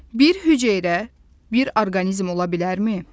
Bir hüceyrə bir orqanizm ola bilərmi?